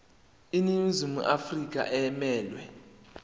iningizimu afrika emelwe